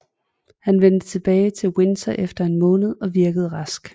Han vendte tilbage til Windsor efter en måned og virkede rask